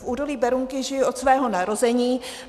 V údolí Berounky žiji od svého narození.